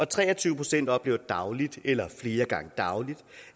tre og tyve procent oplever dagligt eller flere gange dagligt